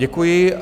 Děkuji.